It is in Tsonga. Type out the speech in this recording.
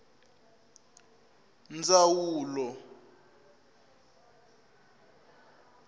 ndzawulo